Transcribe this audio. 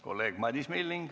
Kolleeg Madis Milling.